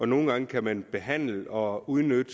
nogle gange kan man behandle og udnytte